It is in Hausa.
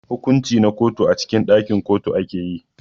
hukunci na kotu a cikin dakin kotu akeyi.